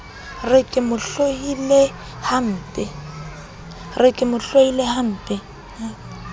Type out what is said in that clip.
re ke mo hloile hampe